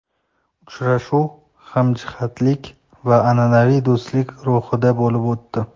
Uchrashuv hamjihatlik va an’anaviy do‘stlik ruhida bo‘lib o‘tdi.